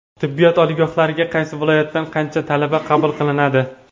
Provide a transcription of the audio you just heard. Tibbiyot oliygohlariga qaysi viloyatdan qancha talaba qabul qilinadi?.